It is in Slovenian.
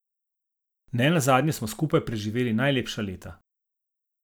Nenazadnje smo skupaj preživeli najlepša leta.